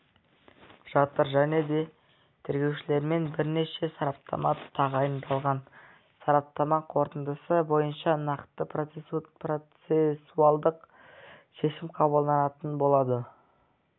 жатыр және де тергеушілермен бірнеше сараптама тағайындалған сараптама қорытындысы бойынша нақты процессуалдық шешім қабылданатын болады